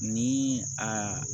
Ni a